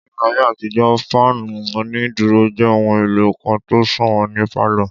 Ní ayé àtijó, fáànù onídúró jẹ́ ohun èlò kan tó sọ̀wọ́n ní pálọ̀